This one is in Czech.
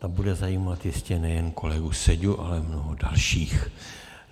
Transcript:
Ta bude zajímat jistě nejen kolegu Seďu, ale mnoho dalších.